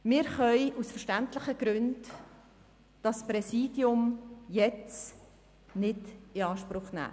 Wir können das Präsidium jetzt nicht in Anspruch nehmen.